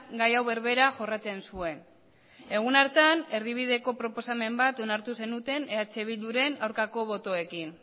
gai hau berbera jorratzen zuen egun hartan erdibideko proposamen bat onartu zenuten eh bilduren aurkako botoekin